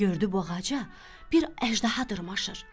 Gördü bu ağaca bir əjdaha dırmaşır.